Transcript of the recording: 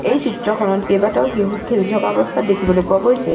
এই চিত্ৰখনত কেইবাটাও শিশুক খেলি থকা অৱস্থাত দেখিবলৈ পোৱা গৈছে।